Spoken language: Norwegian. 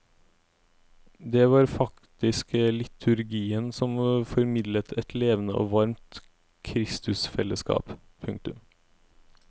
Det var faktisk liturgien som formidlet et levende og varmt kristusfellesskap. punktum